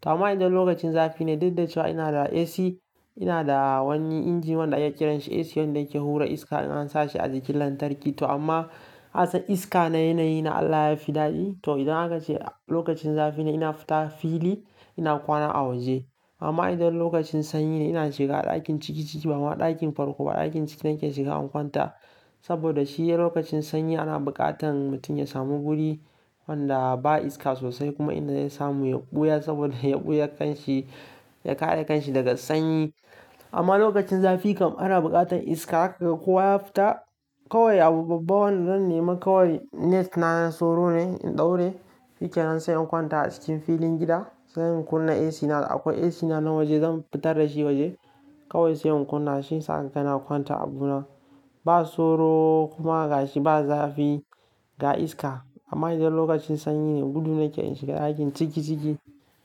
to amma idan lokacin zafi ne, daddace wa ina da AC, ina da wani inji wanda ake kiran shi AC wanda yake hura iska idan an sa shi a jikin lantarki. To amma ka san iska na yanayi na Allah ya fi daɗi. To idan aka ce lokacin zafi ne ina fita fili ina kwana a waje. Amma idan lokacin sanyi ne ina shiga ɗakin ciki ciki ba ma ɗakin farko ba ɗakin ciki nake shiga in kwanta. Saboda shi lokacin sanyi ana buƙatan mutum ya samu guri wanda ba iska sosai kuma inda zai samu yumɓuya saboda yumɓuya kan shi ya kare kan shi daga sanyi. Amma lokacin zafi kam ana buƙatan iska haka kowa ya fita. Kawai abu babban da zan nema kawai net na na soro ne in ɗaure, shikenan sai in kwanta a cikin filin gida. Sai in kunna AC na akwai AC na na waje zan fitar da shi waje. Kawai sai in kunna shi sakana kwanta a bu na. Ba soro kuma ga shi ba zafi ga iska. Amma idan lokacin sanyi ne gudu nake in shiga ɗakin ciki ciki.